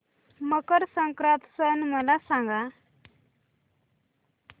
मकर संक्रांत सण मला सांगा